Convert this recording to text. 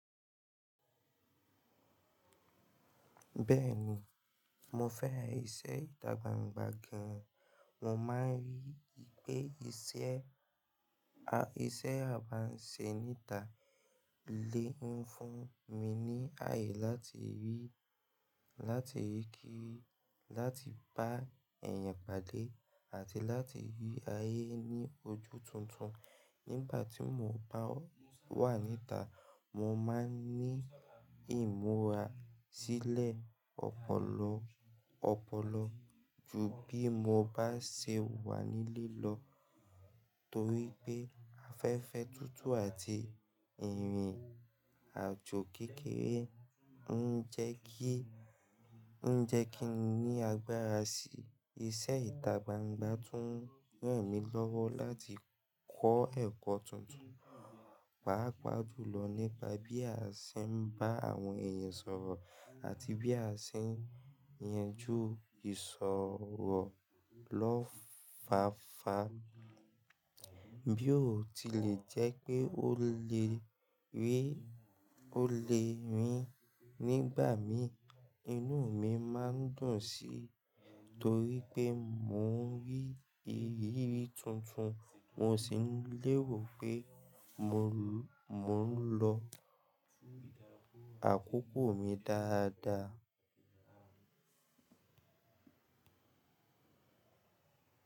Bẹ́ẹ̀ni, mo fẹ́ràn iṣẹ́ ìta gbangba gan. Mo máa ń rí i pé iṣẹ́, a, iṣẹ́ abánisẹ́ níta lé ń fún mi ní ayé láti rí, láti rí kí, láti bá èèyàn pàdé àti láti rí ayé ní ojú tuntun. Nígbà tí mo bá wà níta, mo máa ń ní ìmúra sílẹ̀ ọpọlọ, ọpọlọ ju bí mo bá ṣe wà nílé lọ torí pé afẹ́fẹ́ tuntun àti ìrìn àjò kékeré ń jẹ́ kí, ń jẹ́ kí n ní agbára sí iṣẹ́ ìta gbangba tún ràn mí lọ́wọ́ láti kọ́ ẹ̀kọ́ tuntun, pàápàá jùlọ nípa bí a ṣe ń bá àwọn èèyàn sọ̀rọ̀ àti bí a ṣe ń yanjú ìsoro lọ́fáfá. Bí ó tilẹ̀ jẹ́ pé ó lè rí, ó lè rìn nígbà mìí, inú mi máa ń dùn sí torí pé mò ń rí ìrírí tuntun, mò sì léèrò pé mò ń lọ àkókò mi dáadáa.